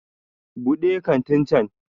Buɗe kantin can!